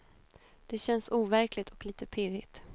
Det känns overkligt och lite pirrigt.